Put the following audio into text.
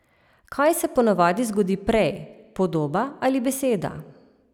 Kaj se po navadi zgodi prej, podoba ali beseda?